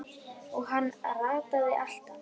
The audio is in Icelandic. Og hann rataði alltaf.